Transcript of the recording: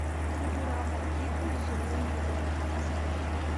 футурама в дикую зеленую даль поставь